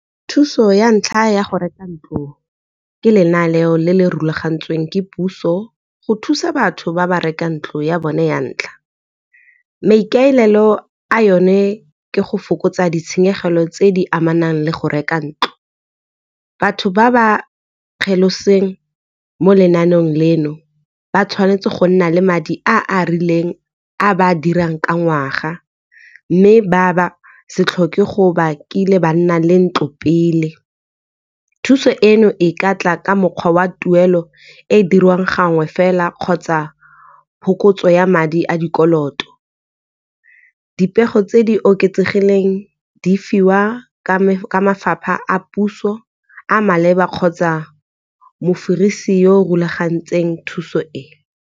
Thuso ya ntlha ya go reka ntlo ke lenaneo le le rulagantsweng ke puso go thusa batho ba ba rekang ntlo ya bone ya ntlha, maikaelelo a yone ke go fokotsa ditshenyegelo tse di amanang le go reka ntlo. Batho ba ba kgeloseng mo lenaneong leno ba tshwanetse go nna le madi a a rileng a ba a dirang ka ngwaga. Mme ba se tlhoke go ba ke ile ba nna le ntlo pele, thuso eno e ka tla ka mokgwa wa tuelo e e dirwang gangwe fela kgotsa phokotso ya madi a dikoloto. Dipego tse di oketsegileng di fiwa ka ka mafapha a puso a maleba kgotsa mofirisi yo rulagantseng thuso e.